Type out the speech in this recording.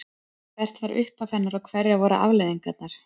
Hvert var upphaf hennar og hverjar voru afleiðingarnar?